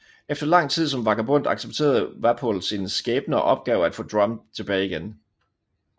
Efter lang tid som vagabond accepterede Wapol sin skæbne og opgav at få Drum tilbage igen